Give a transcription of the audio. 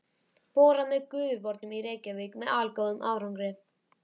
Borað með Gufubornum í Reykjavík með allgóðum árangri.